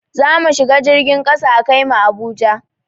Zamu shiga jirgin kasa a kai mu Abuja